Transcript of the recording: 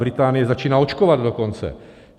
Británie začíná očkovat dokonce.